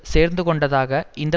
சேர்ந்துகொண்டதாக இந்த